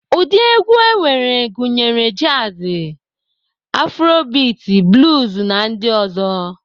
Ụdị egwu enwere gụnyere jazi, aforobiti, bluz na ndị ọzọ.